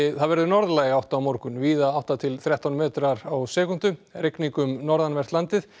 það verður norðlæg átt á morgun víða átta til þrettán metrar á sekúndu rigning um norðanvert landið